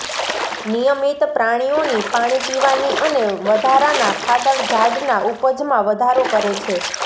નિયમિત પ્રાણીઓની પાણી પીવાની અને વધારાના ખાતર ઝાડના ઉપજમાં વધારો કરે છે